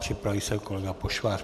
Připraví se kolega Pošvář.